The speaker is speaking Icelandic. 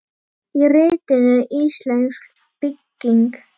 Í ritinu Íslensk bygging